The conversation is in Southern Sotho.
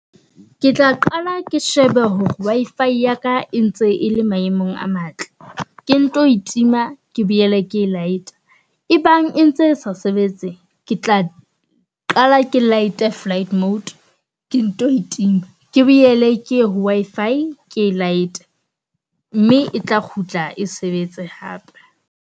Ke tla qala ke shebe hore Wi-fi ya ka e ntse e le maemong a matle, ke nto e tima ke boele ke laeta. E bang e ntse sa sebetseng ke tla a qala ke laete flight mode, ke nto e tima. Ke boele ke ye ho Wi-Fi ke e laete. Mme etla kgutla e sebetse hape.